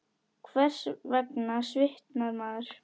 Hvers vegna svitnar maður?